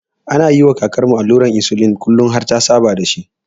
Ana yiwa kakarmu allurar insulin kullin har ta saba da ita.